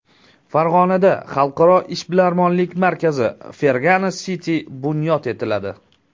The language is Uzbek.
Farg‘onada xalqaro ishbilarmonlik markazi Fergana City bunyod etiladi.